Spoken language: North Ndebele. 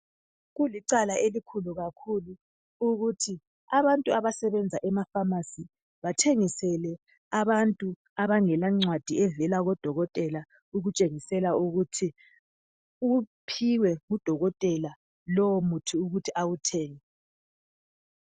Kulicala elikhulu kakhulu ukuthi abantu abasebenza ema pharmacy bathengisele abantu abangela ncwadi evela kodokotela ukutshengisela ukuthi uphiwe ngudokotela lowo muthi ukuthi awuthenge.